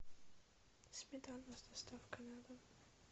сметана с доставкой на дом